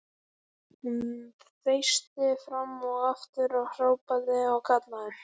Hún þeysti fram og aftur og hrópaði og kallaði.